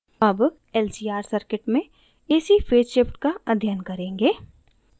ac lcr circuit में ac phase shift का अध्ययन करेंगे